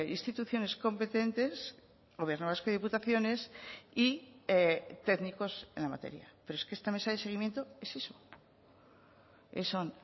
instituciones competentes gobierno vasco y diputaciones y técnicos en la materia pero es que esta mesa de seguimiento es eso son